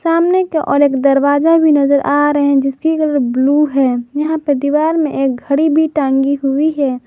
सामने की ओर एक दरवाजा भी नजर आ रहे हैं जिसकी कलर ब्लू है यहां पे दीवार में एक घड़ी भी टांगी हुई है।